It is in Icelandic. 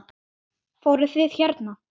Fóruð þið hérna?